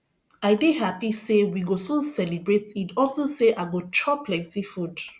i dey happy say we go soon celebrate eid unto say i go chop plenty food